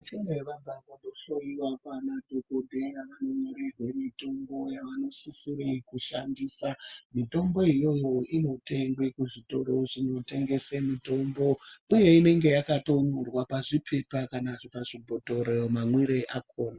Kune vana vanohloyiwa naanadhokoteya vonyorerwe mitombo yavanosisire kushandisa. Mitombo iyoyo inotengwe kuzvitoro zvinotengese mitombo uye inenge yakatonyorwa pazvipepa kana pazvibhhotoro mamwire akona.